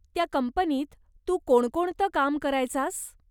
त्या कंपनीत तू कोणकोणतं काम करायचास?